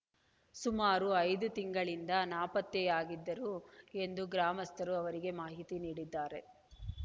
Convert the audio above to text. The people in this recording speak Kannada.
ಸುಮಾರು ಐದು ತಿಂಗಳಿಂದ ನಾಪತ್ತೆಯಾಗಿದ್ದರು ಎಂದು ಗ್ರಾಮಸ್ಥರು ಅವರಿಗೆ ಮಾಹಿತಿ ನೀಡಿದ್ದಾರೆ